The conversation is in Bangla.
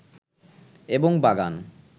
এবং বাগান